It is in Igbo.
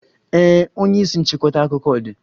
Ee, onye isi nchịkọta akụkọ dị.